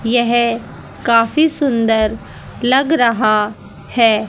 यह काफी सुंदर लग रहा है।